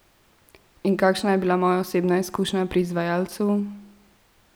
In kakšna je bila moja osebna izkušnja pri izvajalcu?